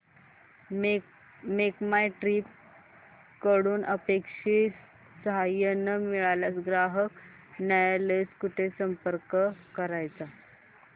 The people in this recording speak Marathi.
मेक माय ट्रीप कडून अपेक्षित सहाय्य न मिळाल्यास ग्राहक न्यायालयास कुठे संपर्क करायचा